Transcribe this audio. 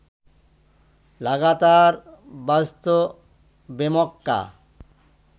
লাগাতার বাজত বেমক্কা